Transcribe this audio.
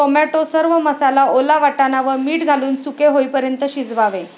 Tomato, सर्व मसाला, ओला वाटाणा व मीठ घालून सुके होईपर्यंत शिजवावे.